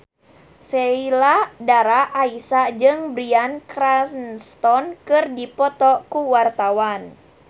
Sheila Dara Aisha jeung Bryan Cranston keur dipoto ku wartawan